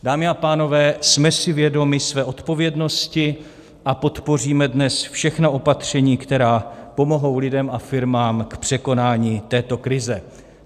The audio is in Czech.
Dámy a pánové, jsme si vědomi své odpovědnosti a podpoříme dnes všechna opatření, která pomohou lidem a firmám k překonání této krize.